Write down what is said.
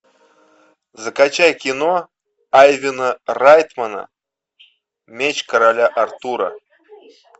закачай кино айвена райтмана меч короля артура